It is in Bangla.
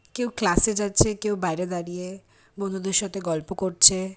কেউ ক্লাস - এ যাচ্ছে। কেউ বাহিরে দাঁড়িয়ে বন্ধুদের সাথে গল্প করছে।